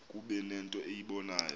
kuba nento eyibonayo